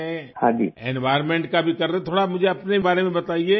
environment کا بھی کر رہے ہیں ، تھوڑا مجھے اپنے بارے میں بتایئے